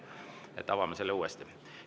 Avame selle uuesti.